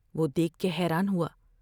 وہ دیکھ کے حیران ہوا ۔